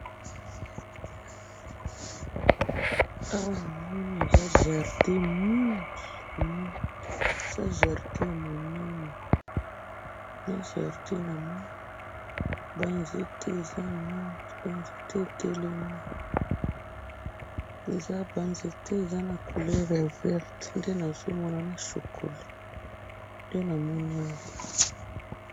Oyo na moni eza bendela ya Uganda, eza na ndeke na kati, na ba langi ya motane, moindo na mosaka.